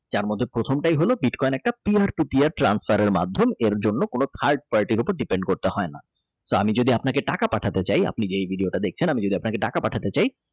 তার মধ্যে প্রথমটাই হলো বিটকয়েন transfer মাধ্যমে এর জন্য কোন Depend করতে হয় না যদি আপনাকে টাকা পাঠায় পাঠাতে চাই আপনি যে video ও দেখছেন আমি যদি আপনাকে টাকা পাঠাতে চাই।